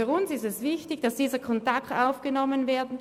Für uns ist es wichtig, dass dieser Kontakt aufgenommen wird.